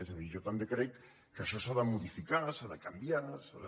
és a dir jo també crec que això s’ha de modificar s’ha de canviar s’ha de